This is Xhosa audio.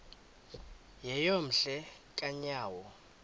yeyom hle kanyawo